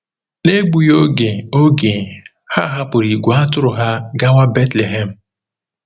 N’egbughị oge, oge, ha hapụrụ ìgwè atụrụ ha gawa Betlehem.